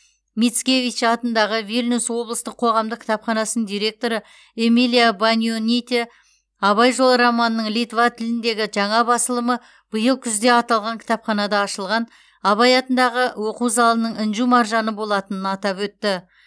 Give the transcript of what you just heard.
мицкевич атындағы вильнюс облыстық қоғамдық кітапханасының директоры эмилия банионите абай жолы романының литва тіліндегі жаңа басылымы биыл күзде аталған кітапханада ашылған абай атындағы оқу залының інжу маржаны болатынын атап өтті